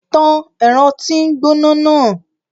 Tàn ẹrọ ti ngbona naa!